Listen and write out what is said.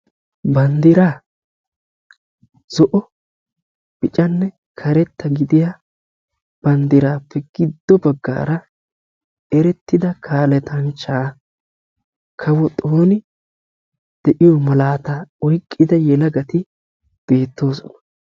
Banddira zo'onne adl'enne zo'o gididda banddira matan kawo xoona oyqqidda asatti de'osonna.